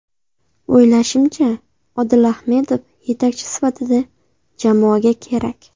O‘ylashimcha, Odil Ahmedov yetakchi sifatida jamoaga kerak.